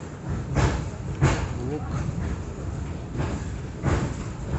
лук